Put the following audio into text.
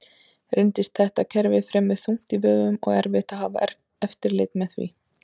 Reyndist þetta kerfi fremur þungt í vöfum og erfitt að hafa eftirlit með því.